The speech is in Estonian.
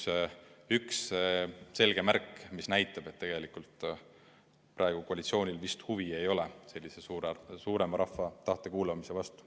See on kahjuks üks selge märk, mis näitab, et tegelikult praegu koalitsioonil vist huvi ei ole suurema rahva tahte kuulamise vastu.